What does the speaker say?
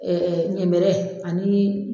ɲɛmɛrɛ ani